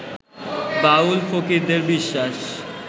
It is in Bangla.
বাউল-ফকিরদের বিশ্বাস